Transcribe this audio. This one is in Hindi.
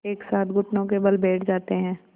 एक साथ घुटनों के बल बैठ जाते हैं